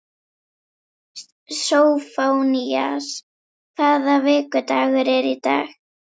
Sófónías, hvaða vikudagur er í dag?